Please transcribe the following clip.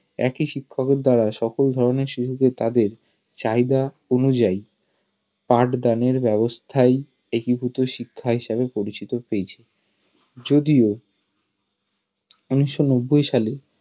একই শিক্ষকের দ্বারা সকল ধরনের শিশুরাই তাদের চাহিদা অনুযায়ীই পাঠদানের ব্যাবস্থায় একীভূত শিক্ষার সাথে পরিচিত হয়েছে যদিও উনিশশো নব্বই সাল এ